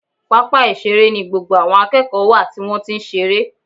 Pápá ìṣeré ni gbogbo àwọn akẹ́kọ̀ọ́ wà tí wọ́n ti ń ṣeré